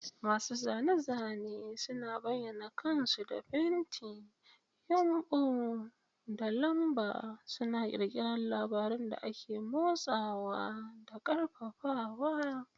Masu zane-zane suna bayyana kansu da fenti, yumbu, da lamba, suna ƙirƙirar labarun da ke motsawa da ƙarfafawa.